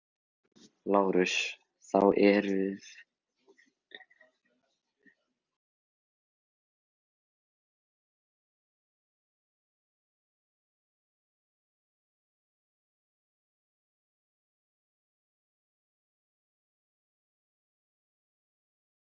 Ég verð að fá að tala í friði, hugsaði hún.